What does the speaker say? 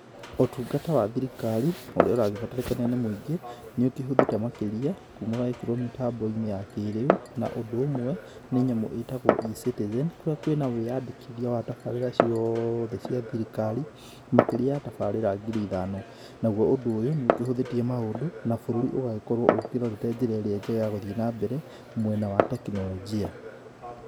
Ũtungata wa thirikari, ũrĩa ũragĩbatarĩka nĩ mũingĩ, nĩ ũkĩhũthĩte makĩria, kuma waĩkĩrũo mĩtambo-inĩ ya kĩrĩu, na ũndũ ũmwe, nĩ nyamũ ĩtagũo eCitizen , kũrĩa kwĩ na wĩandĩkithia wa tabarĩra ciothe cia thirikari, makĩria ya tabarĩra ngiri ithano, naguo ũndũ ũyũ, nĩ ũkĩhũthĩtie maũndũ, na bũrũri ũgagĩkorũo ũkĩrorete njĩra ĩrĩa njega ya gũgĩthiĩ na mbere, mwena wa teknolojia